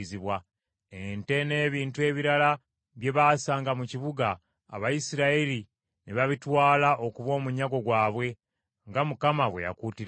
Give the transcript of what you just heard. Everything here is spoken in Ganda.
Ente n’ebintu ebirala bye baasanga mu kibuga, Abayisirayiri ne babitwala okuba omunyago gwabwe nga Mukama bwe yakuutira Yoswa.